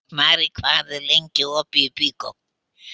Marey, hvað er lengi opið í Byko?